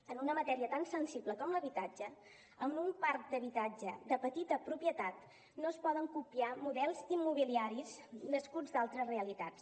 en una matèria tan sensible com l’habitatge amb un parc d’habitatge de petita propietat no es poden copiar models immobiliaris nascuts d’altres realitats